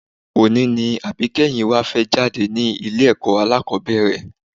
Òní ni àbíkẹ́yìn wa fẹ́ jáde ní ilé-ẹ̀kọ́ alákọ́bẹ̀rẹ̀